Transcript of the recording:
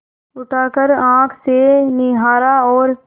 उठाकर आँख से निहारा और